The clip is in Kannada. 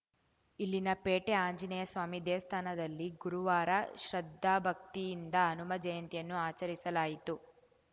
ಇಲ್ಲಿನ ಪೇಟೆ ಆಂಜನೇಯಸ್ವಾಮಿ ದೇವಸ್ಥಾನದಲ್ಲಿ ಗುರುವಾರ ಶ್ರದ್ಧಾಭಕ್ತಿಯಿಂದ ಹನುಮ ಜಯಂತಿಯನ್ನು ಆಚರಿಸಲಾಯಿತು